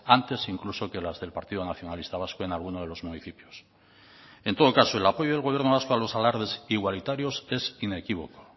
antes incluso que las del partido nacionalista vasco en alguno de los municipios en todo caso el apoyo del gobierno vasco a los alardes igualitarios es inequívoco